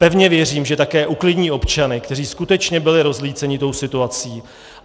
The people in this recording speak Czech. Pevně věřím, že také uklidní občany, kteří skutečně byli rozlíceni tou situací.